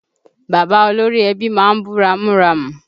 Bàbá olórí ẹbí má ń bú ramúramù